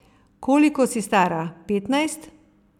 Koliko si stara, petnajst?